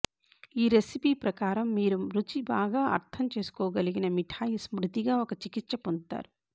ఈ రెసిపీ ప్రకారం మీరు రుచి బాగా అర్థం చేసుకోగలిగిన మిఠాయి స్మృతిగా ఒక చికిత్స పొందుతారు